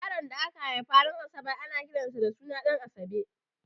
Yaron da aka haifa ran asabar ana kiran sa da suna Ɗanasabe